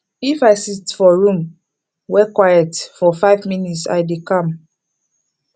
if i sit for room wey quiet for five minute i dey calm